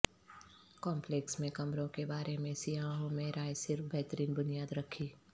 complex میں کمروں کے بارے میں سیاحوں میں رائے صرف بہترین بنیاد رکھی